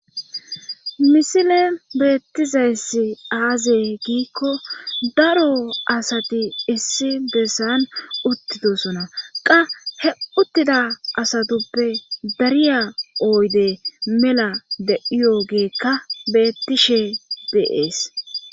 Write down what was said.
misile beettizayssi aaze giikko daro asati issi bessan uttidosona qa he uttida asatuppe dariya oyde mela deiyo geekka beettishe deees